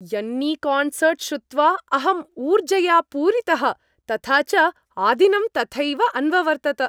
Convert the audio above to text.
यन्नीकान्सर्ट् श्रुत्वा अहम् ऊर्जया पूरितः तथा च आदिनं तथैव अन्ववर्तत।